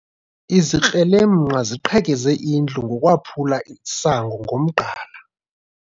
Izikrelemnqa ziqhekeze indlu ngokwaphula isango ngomgqala.